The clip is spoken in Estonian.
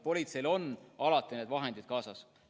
Politseil on alati need vahendid kaasas.